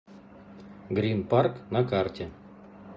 грин парк на карте